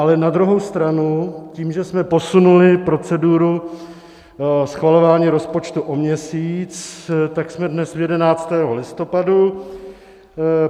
Ale na druhou stranu tím, že jsme posunuli proceduru schvalování rozpočtu o měsíc, tak jsme dnes v 11. listopadu.